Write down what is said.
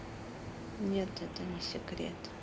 нет это не секрет